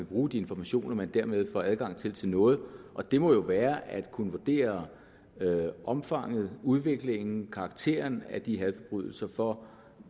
bruge de informationer man dermed får adgang til til noget og det må jo være at kunne vurdere omfanget udviklingen karakteren af de hadforbrydelser for